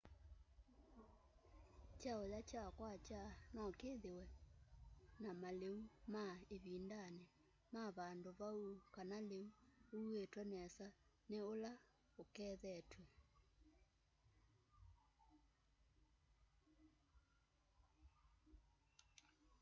kyauya kya kwakya no kithiwe na maliu ma ivindani ma vandu vau kana liu uuitwe nesa ni ula ukethetw'e